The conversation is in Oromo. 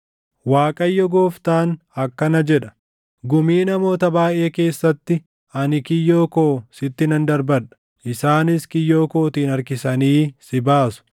“‘ Waaqayyo Gooftaan akkana jedha: “ ‘Gumii namoota baayʼee keessatti ani kiyyoo koo sitti nan darbadha; isaanis kiyyoo kootiin harkisanii si baasu.